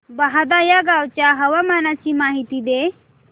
बहादा या गावाच्या हवामानाची माहिती दे